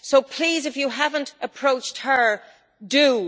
Please, if you have not approached her, do!